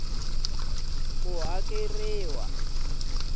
ku hakeriwa ku ya hi